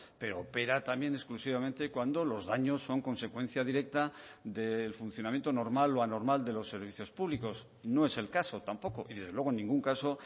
pero opera también exclusivamente cuando los daños son consecuencia directa del funcionamiento normal o anormal de los servicios públicos no es el caso tampoco y desde luego en ningún caso